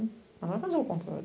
Mas não vai fazer o contrário.